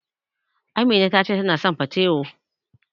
Amina ta ce tana son patewo.